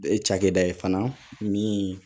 E cakɛda ye fana min